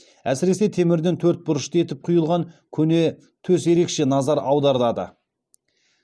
әсіресе темірден төрт бұрышты етіп құйылған көне төс ерекше назар аудартады